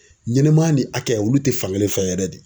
Ɲɛnɛmaya ni hakɛ olu te fankelen fɛ yɛrɛ de.